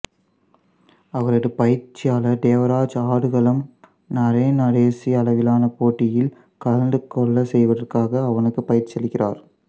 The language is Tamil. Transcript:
அவரது பயிற்சியாளர் தேவராஜ் ஆடுகளம் நரேன் தேசிய அளவிலான போட்டியில் கலந்துகொள்ளச் செய்வதற்காக அவனுக்கு பயிற்சியளிக்கிறார்